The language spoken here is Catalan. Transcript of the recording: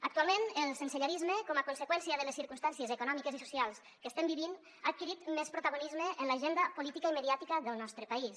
actualment el sensellarisme com a conseqüència de les circumstàncies econòmiques i socials que estem vivint ha adquirit més protagonisme en l’agenda política i mediàtica del nostre país